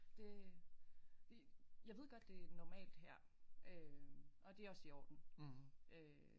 Det jeg ved godt det er normalt her øh og det også i orden øh